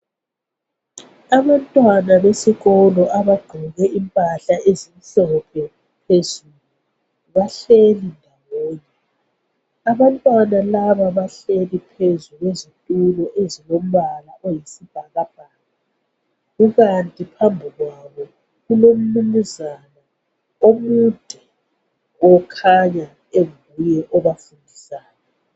Abantwana besikolo abagqoke impahla ezimhlophe phezulu , bahleli bodwa , abantwana laba bahleli phezu kwezitulo ezilombala oyisibhakabhaka kukanti phambi kwabo kulomnumzana omude okhanya kunguye obafundisayo